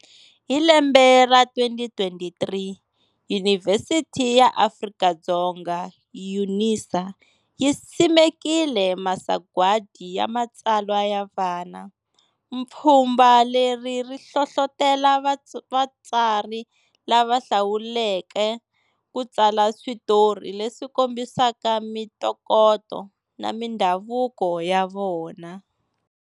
Hi lembe ra 2023 Yunivhesiti ya Afrika-Dzonga UNISA, yi simekile Masagwadi ya Matswala ya Vana. Pfhumba leri ri hlohlotela vatsari lava hlawuleka ku tsala switori leswi kombisa mitokoto na mindhavuko ya vona.